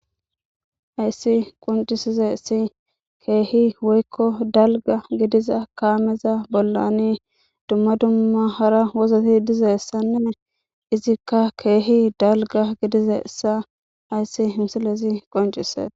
Hayssi quncisize si keehi woykko dalga gidiza kaameza bollani dumma dumma hara wozoti dizessanee izikka keehi dalga gidize issa hayssi himsilesi qoncise.